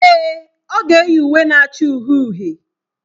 Èè, ọ ga-eyi uwe na-acha uhie uhie.